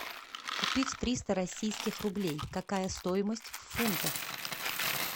купить триста российских рублей какая стоимость в фунтах